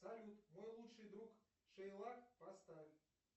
салют мой лучший друг шейлок поставь